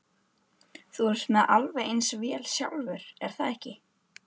Þú ert með alveg eins vél sjálfur, er það ekki?